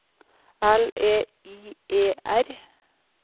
L E I E R